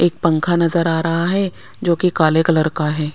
एक पंखा नजर आ रहा है जोकि काले कलर का है।